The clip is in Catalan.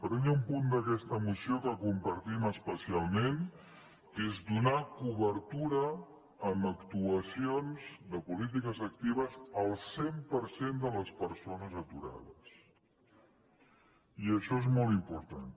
però hi ha un punt d’aquesta moció que compartim es·pecialment que és donar cobertura amb actuacions de polítiques actives al cent per cent de les persones atu·rades i això és molt important